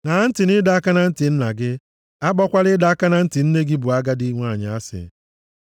Ṅaa ntị nʼịdọ aka na ntị nna gị, akpọkwala ịdọ aka na ntị nne gị bụ agadi nwanyị asị.